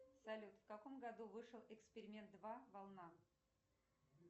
салют в каком году вышел эксперимент два волна